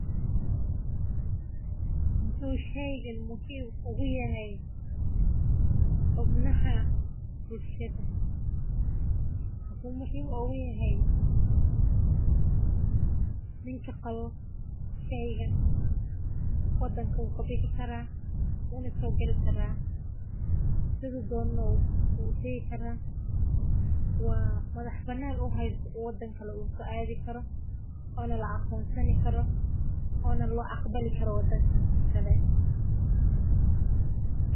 Muxu sheygan muhiim ogu yahay xubnaha bulshaada wuxuu muhiim ogu yahqy wadanka wu kabixi karaa sithi dono ayu utagi karaa woxo la aqonsan yahay waxaa laga aqbali karaa wadankas kale.